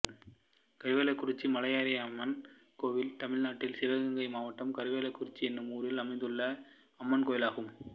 கருவேலக்குறிச்சி மலையரசியம்மன் கோயில் தமிழ்நாட்டில் சிவகங்கை மாவட்டம் கருவேலக்குறிச்சி என்னும் ஊரில் அமைந்துள்ள அம்மன் கோயிலாகும்